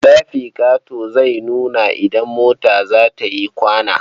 Tirafikato zai nuna idan mota za ta yi kwana.